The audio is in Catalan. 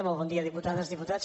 molt bon dia diputades diputats